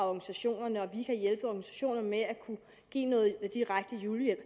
organisationerne at vi kan hjælpe organisationerne ved at give noget direkte julehjælp